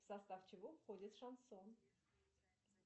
в состав чего входит шансон